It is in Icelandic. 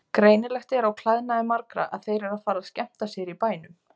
Greinilegt er á klæðnaði margra að þeir eru að fara að skemmta sér í bænum.